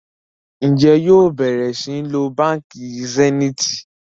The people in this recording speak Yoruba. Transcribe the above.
Njé yóò bẹrẹ sìn ló bánkì Zenith?